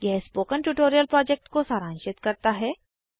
यह spoken tutorial project को सारांशित करता है